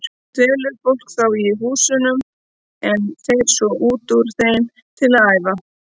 Dvelur fólk þá í húsunum en fer svo út úr þeim til að æfa.